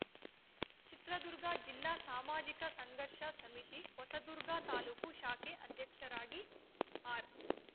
ಚಿತ್ರದುರ್ಗ ಜಿಲ್ಲಾ ಸಾಮಾಜಿಕ ಸಂಘರ್ಷ ಸಮಿತಿ ಹೊಸದುರ್ಗ ತಾಲೂಕು ಶಾಖೆ ಅಧ್ಯಕ್ಷರಾಗಿ ಆರ್‌